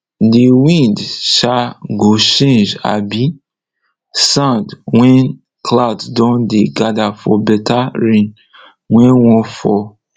the wind um go change um sound when cloud don dey gather for better rain wey wan fall